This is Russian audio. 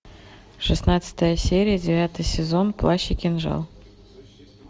шестнадцатая серия девятый сезон плащ и кинжал